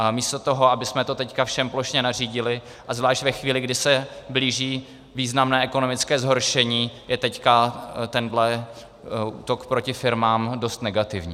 A místo toho, abychom to teď všem plošně nařídili, a zvlášť ve chvíli, kdy se blíží významné ekonomické zhoršení, je teď tento útok proti firmám dost negativní.